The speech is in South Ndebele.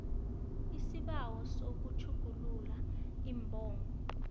isibawo sokutjhugulula iimbongo